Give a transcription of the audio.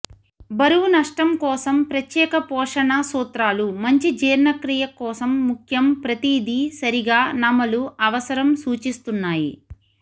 బరువు నష్టం కోసం ప్రత్యేక పోషణ సూత్రాలు మంచి జీర్ణక్రియ కోసం ముఖ్యం ప్రతిదీ సరిగా నమలు అవసరం సూచిస్తున్నాయి